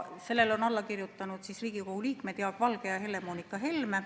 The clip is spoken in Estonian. Sellele on alla kirjutanud Riigikogu liikmed Jaak Valge ja Helle-Moonika Helme.